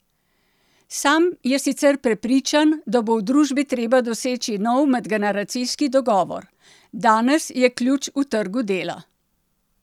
Sam je sicer prepričan, da bo v družbi treba doseči nov medgeneracijski dogovor: "Danes je ključ v trgu dela.